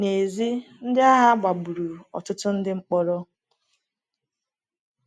N’èzí, ndị agha gbagburu ọtụtụ ndị mkpọrọ.